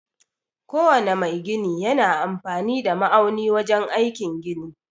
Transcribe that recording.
Ko wane mai gini yana amfani da ma'auni wajen aikin gini